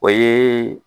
O ye